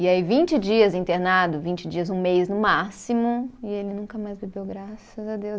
E aí vinte dias internado, vinte dias, um mês no máximo, e ele nunca mais bebeu, graças a Deus.